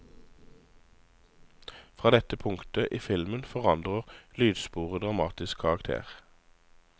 Fra dette punktet i filmen forandrer lydsporet dramatisk karakter.